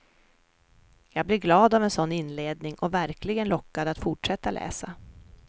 Jag blir glad av en sådan inledning och verkligen lockad att fortsätta läsa.